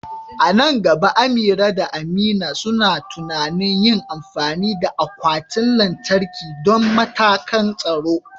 A nan gaba, Amira da Amina suna tunanin yin amfani da akwatin lantarki don matakan tsaro.